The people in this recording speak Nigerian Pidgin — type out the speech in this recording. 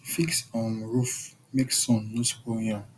fix um roof make sun no spoil yam